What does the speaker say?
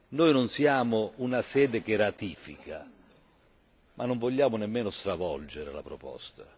Noi non siamo una sede che ratifica, ma non vogliamo nemmeno stravolgere la proposta